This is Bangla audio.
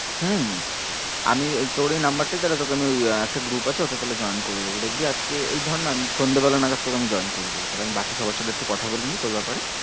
হম আমি তোর এই number টাই তাহলে তোকে আমি একটা group আছে ওতে তাহলে join করিয়ে দেব। দেখবি আজকে এই ধর না আমি সন্ধ্যে বেলা নাগাদ তোকে আমি join করিয়ে দেব তাহলে আমি বাকি সবার সাথে একটু কথা বলে নি তোর ব্যাপারে।